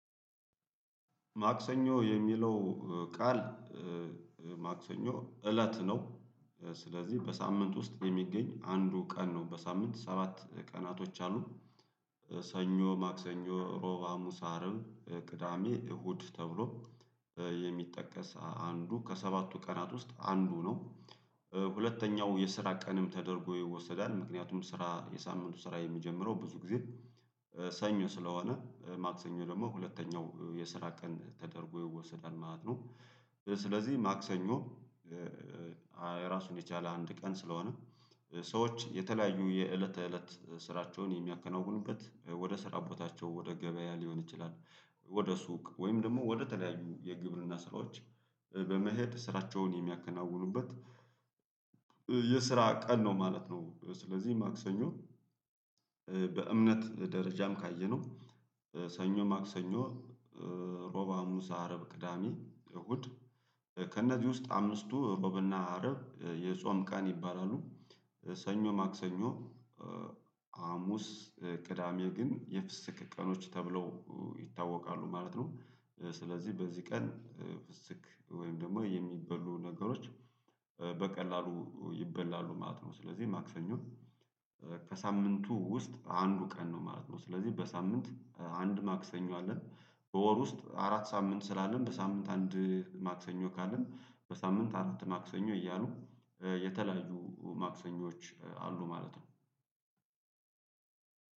ማክሰኞ የሚለው ቃል ማክሰኞ እለት ነው። ስለዚህ በሳምንት ውስጥ የሚገኝ አንዱ ቀን ነው። በሳምንት ሰባት ቀናቶች አሉ። ሰኞ ማክሰኞ እሮብ ሀሙስ አርብ ቅዳሜ እሁድ ተብሎ የሚጠቀስ አንዱ ከሰባቱ ቀናት ውስጥ አንዱ ነው። ሁለተኛው የስራ ቀንም ተደርጎ ይወሰዳል ምክንያቱም ስራ የሳምንቱ ስራ የሚጀምረው ብዙ ጊዜ በሰ ሰኞ ስለሆነ ማክሰኞ ደግሞ ሁለተኛው የስራ ቀን ተደርጎ ይወሰዳል ማለት ነው። ስለዚህ ማክሰኞ ራሱን የቻለ አንድ ቀን ስለሆነ ሰዎች የተለያዩ የእለት ተእለት ስራቸውን የሚያከናውኑበት ወደ ስራ ቦታቸው ወደ ገበያ ሊሆን ይችላል ወደ ሱቅ ወይም ደግሞ ወደ ተለያዩ የግብርና ስራዎች በመሄድ ስራቸውን የሚያከናውኑበት የስራ ቀን ነው ማለት ነው። ስለዚህ ማክሰኞ በእምነት ደረጃም ካየነው ሰኞ ማክሰኞ ሮብ ሀሙስ አርብ ቅዳሜ እሁድ ከእነዚህ ውስጥ አምስቱ ቦብ እና አረብ የጾም ቀን ይባላሉ። ሰኞ ማክሰኞ ሀሙስ ቅዳሜ ግን የፍስክ ቀኖች ተብለው ይታወቃሉ ማለት ነው። ስለዚህ በዚህ ቀን ፍስክ ወይም ደግሞ የሚበሉ ነገሮች በ በቀላሉ ይበላሉ ማለት ነው። ስለዚህ ማክሰኞ ከሳምንቱ ውስጥ አንዱ ቀን ነው ማለት ነው። ስለዚህ በሳምንት አንድ ማክሰኞ አለን በወር ውስጥ አራት ሳምንት ስላለን በሳምንት አንድ ማክሰኞ ካለን በሳምንት አራት ማክሰኞ እያሉ የተለያዩ ማክሰኞዎች አሉ ማለት ነው።